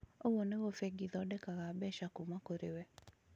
ũguo nĩguo bengi ĩthondekaga mbeca kuuma kũrĩ wee.